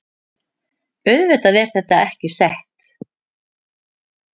Auðvitað er þetta ekki sett